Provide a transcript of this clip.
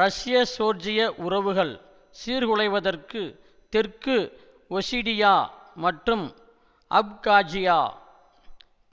ரஷ்யஜோர்ஜிய உறவுகள் சீர்குலைவதற்கு தெற்கு ஒசிடியா மற்றும் அப்காஜியா